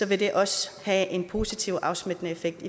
vil det også have en positivt afsmittende effekt